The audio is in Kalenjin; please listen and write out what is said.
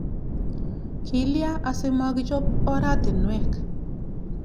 Kilya asimakichop oratinwek?